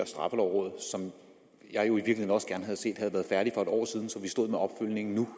straffelovrådet som jeg jo også gerne havde set havde været færdig for et år siden så vi stod med opfølgningen nu